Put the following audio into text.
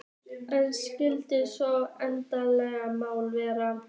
En hvert skyldi svo leyndarmálið vera?